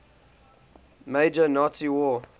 major nazi war